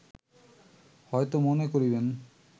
হয়ত মনে করিবেন